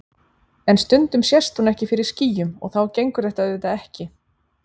En stundum sést hún ekki fyrir skýjum og þá gengur þetta auðvitað ekki.